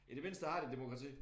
I det mindste har de et demokrati